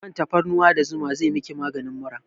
Man tafarnuwa da zuma zai miki maganin mura